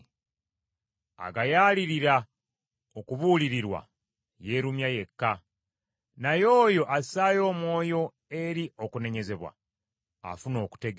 Agayaalirira okubuulirirwa yeerumya yekka, naye oyo assaayo omwoyo eri okunenyezebwa afuna okutegeera.